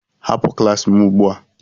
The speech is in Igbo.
Hapụ klas m ugbu a!